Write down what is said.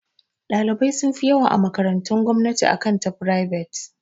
Ɗalibai sun fi yawa a makarantun gomnati akan ta frivet.